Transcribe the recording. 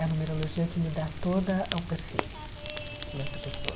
É a numerologia que me dá toda o perfil dessa pessoa.